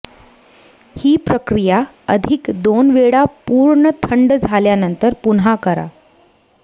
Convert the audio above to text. ही प्रक्रिया अधिक दोन वेळा पूर्ण थंड झाल्यानंतर पुन्हा करा